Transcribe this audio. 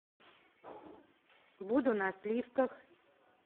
буду на сливках